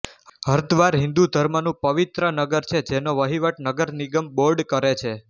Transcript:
હરદ્વાર હિન્દુ ધર્મનું પવિત્ર નગર છે જેનો વહીવટ નગર નિગમ બોર્ડ કરે છે